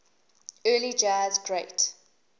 early jazz great